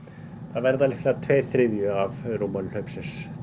það verður sennilega tveir þriðju af rúmmáli hlaupsins